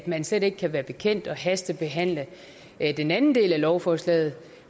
man slet ikke kan være bekendt at hastebehandle den anden del af lovforslaget